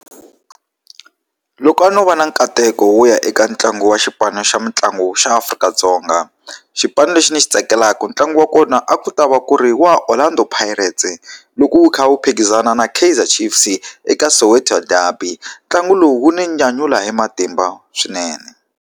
Loko a no va na nkateko wo ya eka ntlangu wa xipano xa mitlangu xa Afrika-Dzonga. Xipanu lexi ni xi tsakelaka ntlangu wa kona a ku ta va ku ri wa Orlando Pirates-e loko wu kha wu phikizana na Kaizer Chiefs-i eka Soweto derby. Ntlangu lowu wu ni nyanyula hi matimba swinene.